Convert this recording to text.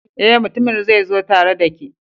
Eh, mutumin zai zo tare da ke